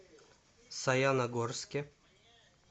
саяногорске